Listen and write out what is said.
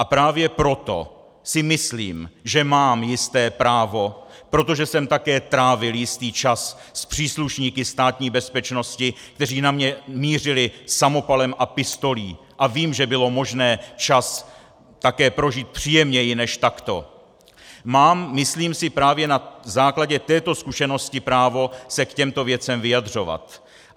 A právě proto si myslím, že mám jisté právo - protože jsem také trávil jistý čas s příslušníky Státní bezpečnosti, kteří na mě mířili samopalem a pistolí, a vím, že bylo možné čas také prožít příjemněji než takto -, mám, myslím si, právě na základě této zkušenosti právo se k těmto věcem vyjadřovat.